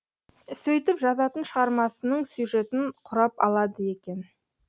сөйтіп жазатын шығармасының сюжетін құрап алады екен